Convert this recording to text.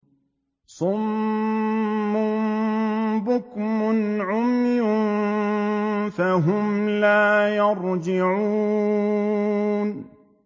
صُمٌّ بُكْمٌ عُمْيٌ فَهُمْ لَا يَرْجِعُونَ